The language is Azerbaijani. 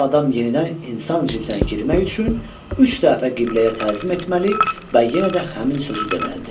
O adam yenidən insan cildinə girmək üçün üç dəfə qibləyə təzim etməli və yenə də həmin sözü deməlidir.